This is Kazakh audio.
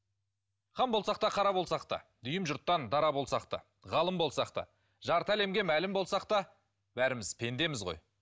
хан болсақ та қара болсақ та дүйім жұрттан дара болсақ та ғалым болсақ та жарты әлемге мәлім болсақ та бәріміз пендеміз ғой